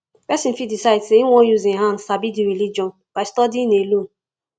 person fit decide sey im wan use im hand sabi di religion by studying alone